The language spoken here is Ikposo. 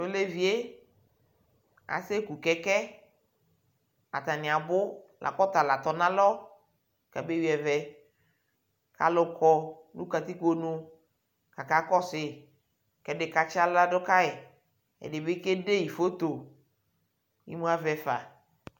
Tʋ olevi yɛ aseku kɛkɛ Atanɩ abʋ la kʋ ɔta la tɔ nʋ alɔ kʋ abeyui ɛvɛ kʋ alʋ kɔ nʋ katikpo nu kʋ akakɔsʋ yɩ kʋ ɛdɩ katsɩ aɣla dʋ ka yɩ Ɛdɩ bɩ kede yɩ foto Imu avɛ fa